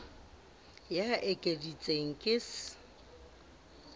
ya e ekeditsweng ke s